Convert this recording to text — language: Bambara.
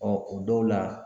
Ɔɔ o dɔw la